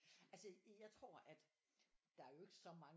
Altså jeg tror at der er jo ikke så mange